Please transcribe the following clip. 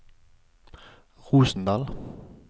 Rosendal